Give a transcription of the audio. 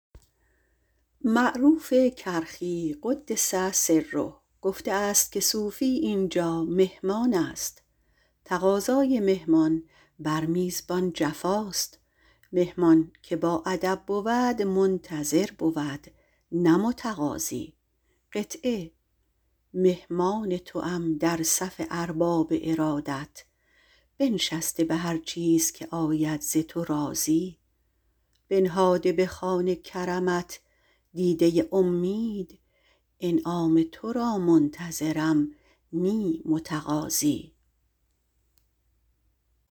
معروف کرخی - قدس الله سره - گفته است که صوفی اینجا مهمان است تقاضای مهمان بر میزبان جفاست مهمان که باادب بود منتظر بود نه متقاضی مهمان توام در صف ارباب ارادت بنشسته به هر چیز که آید ز تو راضی بنهاده به خوان کرمت دیده امید انعام تو را منتظرم نه متقاضی